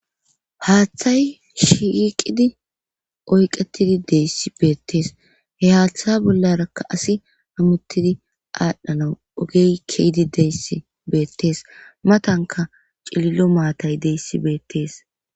haaththay shiqidi oyqetidi deyssi beettees he haaththa bollarakka asi hamuttidi aadhdhanau ogey keydi deyssi beettees matanka cilillo maatay deyssi beettees